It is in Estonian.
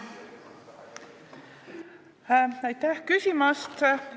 Aitäh küsimast!